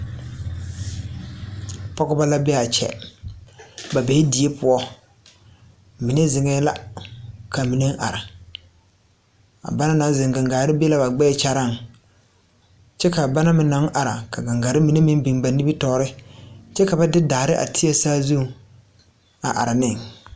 Poɔgebɔ la bee aa kyɛ ba bee die poɔ mine zeŋɛɛ la ka mine are a ba naŋ zeŋ gaŋgaare be la gbɛɛ kyaraaŋ kyɛ ka ba naŋ meŋ naŋ ara gaŋgarre mine meŋ bin ba nimitoore kyɛ ka ba de daare a teɛ saazuŋ are ne.